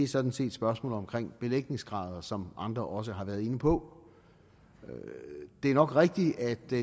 sådan set spørgsmålet om belægningsgrader som andre også har været inde på det er nok rigtigt at det